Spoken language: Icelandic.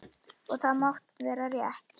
Og það má vera rétt.